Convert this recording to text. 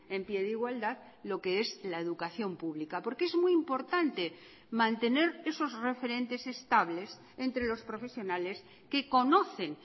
en pie de igualdad lo que es la educación pública porque es muy importante mantener esos referentes estables entre los profesionales que conocen